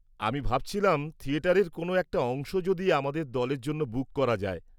আমি ভাবছিলাম থিয়েটারের কোন একটা অংশ যদি আমাদের দলের জন্য বুক করা যায়?